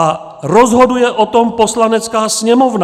A rozhoduje o tom Poslanecká sněmovna.